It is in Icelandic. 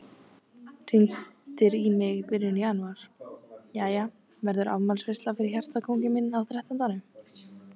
Hringdir í mig í byrjun janúar: Jæja, verður afmælisveisla fyrir hjartakónginn minn á þrettándanum?